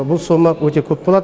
бұл сома өте көп болады